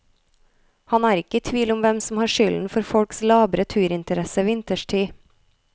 Han er ikke i tvil om hvem som har skylden for folks labre turinteresse vinterstid.